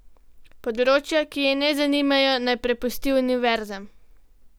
Področja, ki je ne zanimajo, naj prepusti univerzam.